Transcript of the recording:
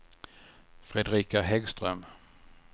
Fredrika Häggström